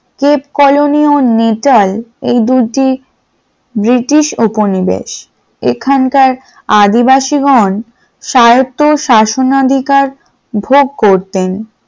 Cape Colony ও Natal এ দুটি ব্রিটিশ উপনিবেশ এখানকার আদিবাসীগণ সাহেবতো শাসনাধিকার ভোগ করতেন।